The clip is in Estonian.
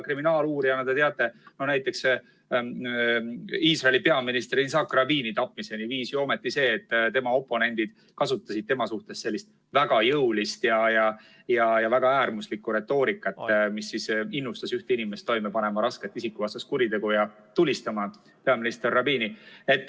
Kriminaaluurijana te võib-olla teate, et näiteks Iisraeli peaminister Yitzhak Rabini tapmiseni viis see, et tema oponendid kasutasid tema suhtes väga jõulist ja väga äärmuslikku retoorikat, mis innustas üht inimest toime panema rasket isikuvastast kuritegu ja tulistama peaminister Rabini.